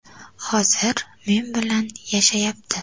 Hozir men bilan yashayapti.